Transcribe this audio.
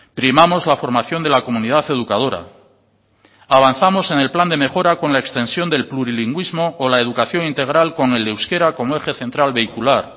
primamos la formación de la comunidad educadora avanzamos en el plan de mejora con la extensión del plurilingüismo o la educación integral con el euskera como eje central vehicular